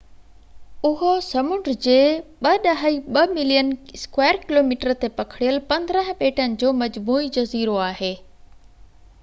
اهو سمنڊ جي 2.2 ملين km2 تي پکڙيل 15 ٻيٽن جو مجموعي جزيرو آهي